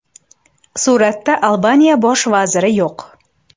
Suratda Albaniya bosh vaziri yo‘q.